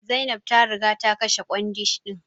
Zainab ta riga ta kashe kwandishan din.